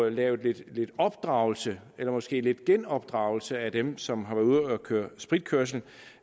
lave lidt opdragelse eller måske lidt genopdragelse af dem som har været ude at køre spritkørsel